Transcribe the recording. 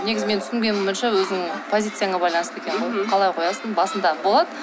негізі менің түсінгенім бойынша өзіңнің позицияңа байланысты екен ғой қалай қоясың басында болады